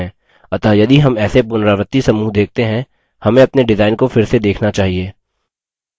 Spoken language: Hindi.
अतः यदि हम ऐसे पुनरावृत्ति समूह देखते हैं हमें अपने डिजाइन को फिर से देखना चाहिए